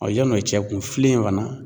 yann'o cɛ kun, filen in fana